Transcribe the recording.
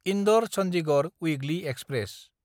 Indore Chandigarh weekly express